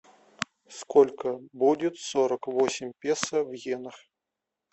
сколько будет сорок восемь песо в йенах